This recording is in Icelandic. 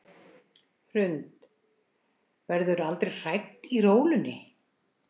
Hrund: Verðurðu aldrei hrædd í rólunni?